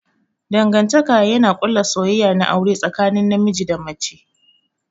Dangantaka yana ƙulla soyayya na aure tsakanin namiji da mace.